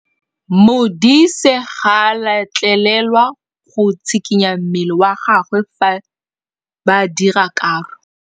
Modise ga a letlelelwa go tshikinya mmele wa gagwe fa ba dira karô.